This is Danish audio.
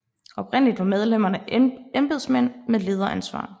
Oprindeligt var medlemmerne embedsmænd med lederansvar